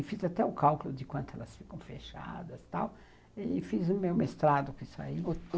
E fiz até o cálculo de quanto elas ficam fechadas e tal, e fiz o meu mestrado com isso aí.